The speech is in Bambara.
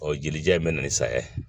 Ɔ jelija in bɛ na ni saya ye